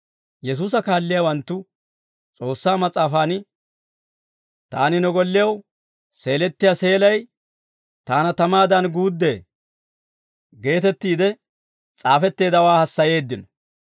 Yesuusa kaalliyaawanttu S'oossaa mas'aafan, «Taani ne gollew seelettiyaa seelay taana tamaadan guuddee» geetettiide s'aafetteeddawaa hassayeeddino.